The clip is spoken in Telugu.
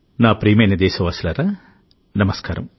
నా ప్రియమైన దేశవాసులారా నమస్కారం